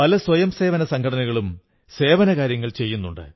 പല സ്വയംസേവി സംഘടനകളും സേവന കാര്യങ്ങൾ ചെയ്യുന്നു